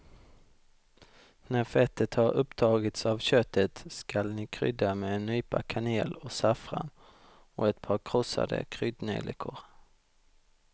När fettet har upptagits av köttet skall ni krydda med en nypa kanel och saffran och ett par krossade kryddnejlikor.